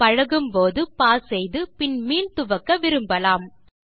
பழகும்போது பாஸ் செய்து பின் மீள் துவக்கக் விரும்பலாம்